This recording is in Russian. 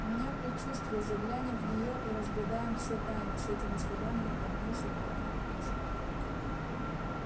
у меня предчувствие заглянем в неё и разгадаем все тайны с этими словами он нагнулся и поднял книжку